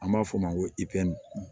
An b'a f'o ma ko pɛrimi